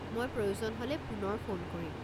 মই প্ৰয়োজন হ'লে পুনৰ ফোন কৰিম।